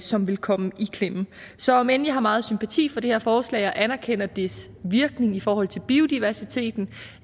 som vil komme i klemme så om end vi har meget sympati for det her forslag og anerkender dets virkning i forhold til biodiversiteten